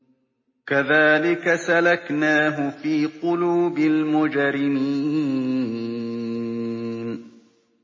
كَذَٰلِكَ سَلَكْنَاهُ فِي قُلُوبِ الْمُجْرِمِينَ